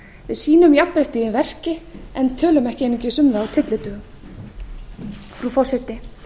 við sýnum jafnréttið í verki en tölum ekki einungis um það á tyllidögum frú forseti